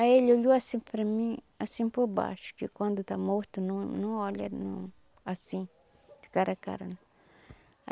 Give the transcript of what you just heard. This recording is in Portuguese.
Aí ele olhou assim para mim, assim por baixo, que quando está morto não não olha não assim, de cara a cara né.